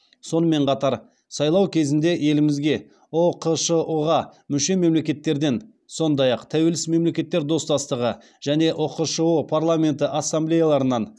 сонымен қатар сайлау кезінде елімізге ұқшұ ға мүше мемлекеттерден сондай ақ тәуелсіз мемлекеттер достастығы және ұқшұ парламенті ассамблеяларынан